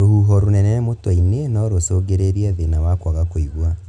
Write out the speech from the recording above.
Rũhuho rũnene mũtwe-inĩ no rũcũngĩrĩrie thĩna wa kwaga kũigua